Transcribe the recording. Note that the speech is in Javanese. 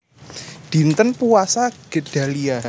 Dinten Puasa Gedalia